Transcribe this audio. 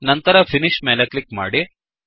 ನಂತರ ಫಿನಿಶ್ ಮೇಲೆ ಕ್ಲಿಕ್ ಮಾಡಿ